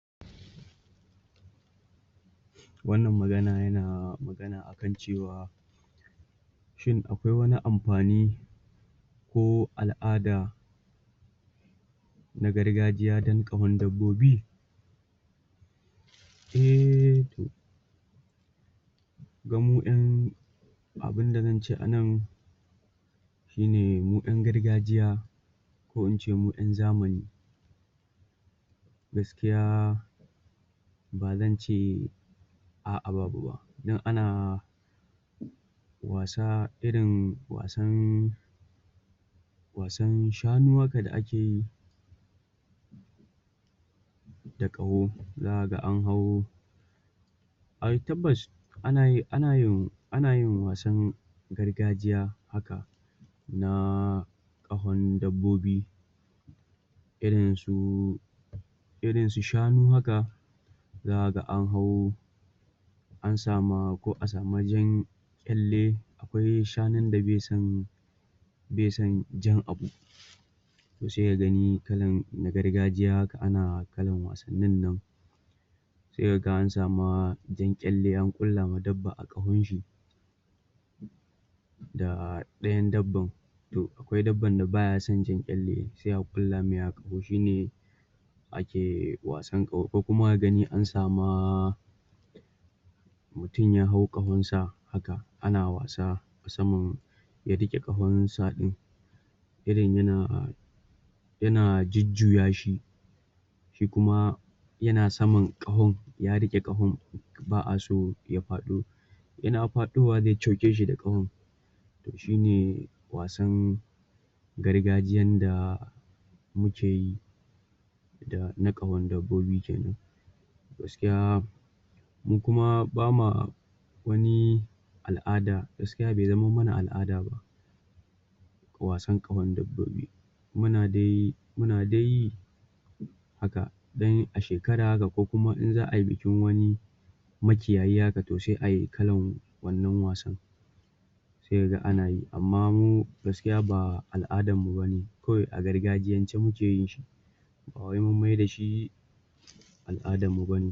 Wannan magana yana magana akan cewa shin, akwai wani amfani ko al'ada na garagjiya don ƙahon dabbobi? Eh, to ba mu ƴan abinda zan ce anan shine, mu ƴan gargajiya ko ince mu ƴan zamani gaskiya ba zan ce a'a babu ba don ana wasa, irin wasan wasan shanu haka da ake yi da ƙaho. Zakaga an hau ai tabbas anayi anayin anayin wasan gargajiya haka na ƙahon dabbobi irin su irin su shanu haka zakaga an hau an sa ma, ko a samu jan ƙyalle akwai shanu da be son be son jan abu to se ka gani kalan na gargajiya haka ana kalan wasannin nan se kaga an sa ma jan ƙyalle an ƙulla ma dabba a ƙahon shi da ɗayan dabban to akwai dabban da baya son jan ƙyalle sai a ƙulla mai a ƙaho, shine ake wasan ƙaho, ko kuma ka gani an sa ma mutum ya hau ƙahon sa haka ana wasa musamman ya riƙe ƙahon sa ɗin irin yana yana jujjuya shi shi kuma yana saman ƙahon, ya riƙe ƙahon ba'a so ya faɗo yana faɗowa zai coke shi da ƙahon to shine wasan gargajiyan da muke yi da, na ƙahon dabbobi kenan gaskiya mu kuma ba ma wani al'ada gaskiya be zamam mana al'ada ba wasan ƙahon dabbobi muna dai muna dai yi haka don a shekara haka, ko kuma in za ai bikin wani makiyayi haka, to sai ai kalan wannan wasan se kaga ana yi amma mu gaskiya ba al'adar mu bane kawai a gargajiyance muke yin shi ba wai mun mai da shi al'adar mu bane